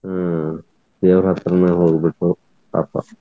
ಹ್ಮ್ ದೇವ್ರ್ ಹತ್ರನ ಹೋಗಿಬಿಟ್ರು ಪಾಪಾ.